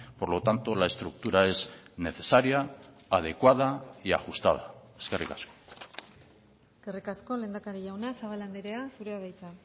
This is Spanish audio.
por lo tanto la estructura es necesaria adecuada y ajustada eskerrik asko eskerrik asko lehendakari jauna zabala andrea zurea da hitza